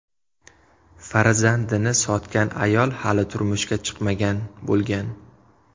Farzandini sotgan ayol hali turmushga chiqmagan bo‘lgan.